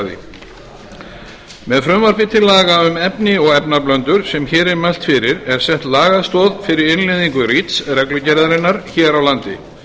markaði með frumvarpi til laga um efni og efnablöndur sem hér er mælt fyrir er sett lagastoð fyrir innleiðingu reach reglugerðarinnar hér á landi